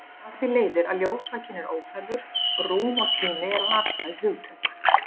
Af því leiðir að ljósvakinn er óþarfur og rúm og tími eru afstæð hugtök.